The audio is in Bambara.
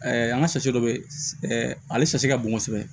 an ka dɔ bɛ ale ka bon kosɛbɛ